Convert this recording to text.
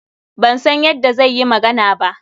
Ban san yadda zai yi magana ba.